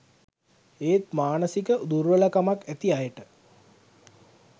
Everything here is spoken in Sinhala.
ඒත් මානසික දුර්වලකමක් ඇති අයට